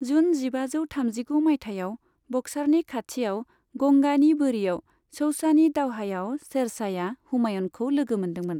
जुन जिबाजौ थामजिगु माइथायाव, बक्सारनि खाथियाव गंगानि बोरियाव चौसानि दावहायाव शेरशाहया हुमायूनखौ लोगो मोनदोंमोन।